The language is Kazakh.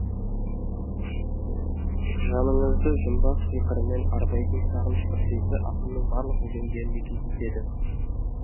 жаныңызды жұмбақ сиқырымен арбайтын сағыныш құдіреті ақынның барлық өлеңдерінде кездеседі